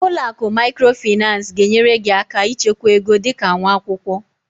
Ụlọ akụ Microfinance ga-enyere gị aka ịchekwa ego dị ka nwa akwụkwọ